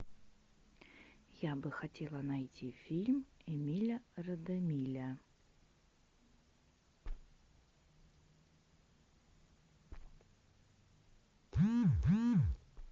я бы хотела найти фильм эмиля радемиля